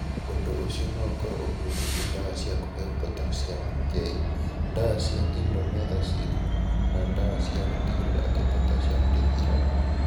Ũndũ ũcio no ũkorũo ũhutĩtie ndawa cia kũheo potassium (K), ndawa ta indomethacin, na ndawa cia gũtigĩrĩra atĩ potassium ndĩthiraga.